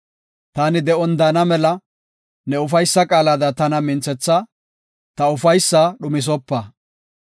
Taani de7on daana mela ne ufaysa qaalada tana minthetha; ta ufaysaa dhumisopa.